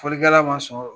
Fɔlikɛla ma sɔn